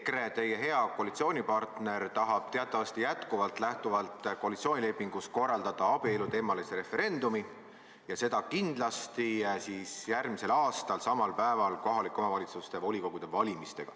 EKRE, teie hea koalitsioonipartner, tahab teatavasti jätkuvalt lähtuvalt koalitsioonilepingust korraldada abielu teemal referendumi, ja seda kindlasti järgmisel aastal, samal päeval kohalike omavalitsuste volikogude valimisega.